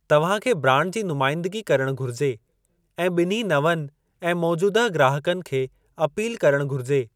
तव्हां खे ब्रांड जी नुमाइंदगी करणु घुरिजे ऐं ॿिन्ही नवनि ऐं मौजूदह ग्राहकनि खे अपील करणु घुरिजे।